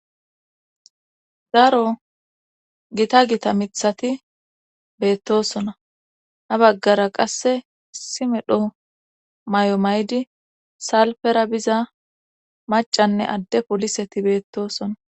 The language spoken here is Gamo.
Zaaro gita gita mithati beettosona na baggara qasse simedho may'o may'di salpera biza macanne adde poliseti beettoosona.